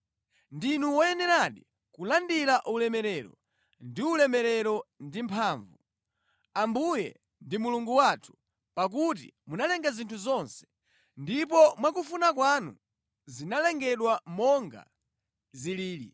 “Ndinu woyeneradi kulandira ulemerero ndi ulemu ndi mphamvu, Ambuye ndi Mulungu wathu, pakuti munalenga zinthu zonse, ndipo mwakufuna kwanu zinalengedwa monga zilili.”